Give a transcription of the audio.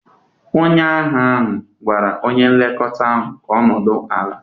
Onye agha ahụ gwara onye nlekọta ahụ ka ọ nọdụ ala!